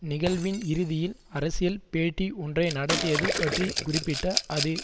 நிகழ்வின் இறுதியில் அரசியல் பேட்டி ஒன்றை நடத்தியது பற்றி குறிப்பிட்ட அது